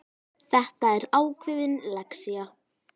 Þetta var ákveðin lexía.